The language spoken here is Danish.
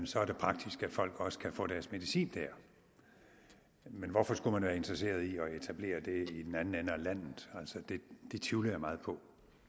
så er det praktisk at folk også kan få deres medicin der men hvorfor skulle man være interesseret i at etablere det i den anden ende af landet det tvivler jeg meget på